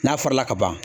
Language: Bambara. N'a farala ka ban